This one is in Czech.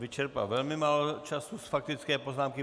Vyčerpal velmi málo času z faktické poznámky.